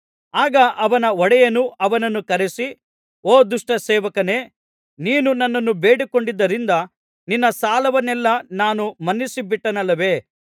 ಆಗ ಅವನ ಒಡೆಯನು ಅವನನ್ನು ಕರಸಿ ಓ ದುಷ್ಟ ಸೇವಕನೇ ನೀನು ನನ್ನನ್ನು ಬೇಡಿಕೊಂಡದ್ದರಿಂದ ನಿನ್ನ ಸಾಲವನ್ನೆಲ್ಲಾ ನಾನು ಮನ್ನಿಸಿಬಿಟ್ಟೆನಲ್ಲವೇ